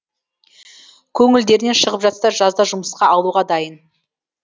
көңілдерінен шығып жатса жазда жұмысқа алуға дайын